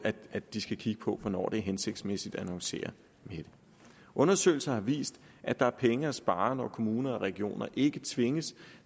at de skal kigge på hvornår det er hensigtsmæssigt at annoncere undersøgelser har vist at der er penge at spare når kommuner og regioner ikke tvinges